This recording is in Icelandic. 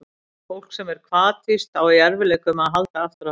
Fólk sem er hvatvíst á í erfiðleikum með að halda aftur af sér.